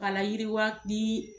K'a layiriwa ni